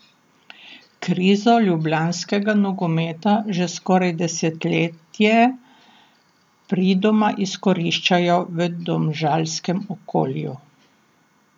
Krizo ljubljanskega nogometa že skoraj desetletje pridoma izkoriščajo v domžalskem okolju.